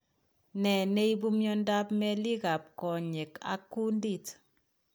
Nee neibu miondab meelik ab konyek ak kundit